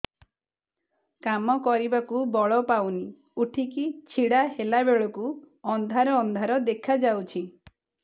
କାମ କରିବାକୁ ବଳ ପାଉନି ଉଠିକି ଛିଡା ହେଲା ବେଳକୁ ଅନ୍ଧାର ଅନ୍ଧାର ଦେଖା ଯାଉଛି